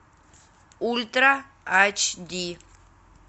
ультра эйч ди